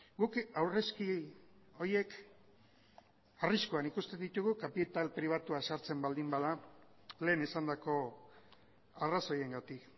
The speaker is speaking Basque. guk aurrezki horiek arriskuan ikusten ditugu kapital pribatua sartzen baldin bada lehen esandako arrazoiengatik